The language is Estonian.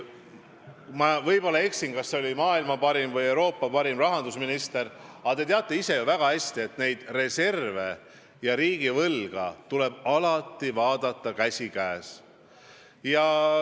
Ma tunnustan teid kui maailma parimat või Euroopa parimat rahandusministrit – võin selle tiitliga eksida – ja te teate ise väga hästi, et reserve ja riigivõlga tuleb alati vaadata käsikäes.